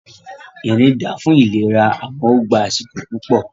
Ìrìn da fún ìlera àmọ́ ó gbá àsìkò púpọ̀